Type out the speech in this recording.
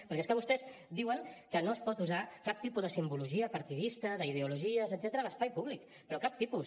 perquè és que vostès diuen que no es pot usar cap tipus de simbologia partidista d’ideologies etcètera a l’espai públic però cap tipus